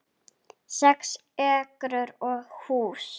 Sex ekrur og hús